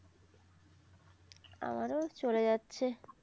আমার ও চলে যাচ্ছে